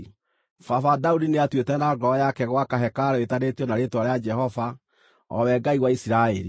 “Baba Daudi nĩatuĩte na ngoro yake gwaka hekarũ ĩĩtanĩtio na Rĩĩtwa rĩa Jehova, o we Ngai wa Isiraeli.